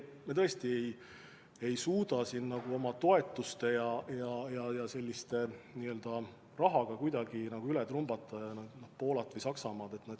Me tõesti ei suuda oma toetuste ja muu rahaga üle trumbata Poolat või Saksamaad.